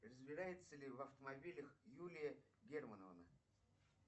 разбирается ли в автомобилях юлия германовна